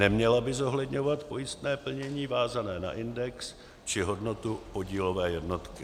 Neměla by zohledňovat pojistné plnění vázané na index či hodnotu podílové jednotky.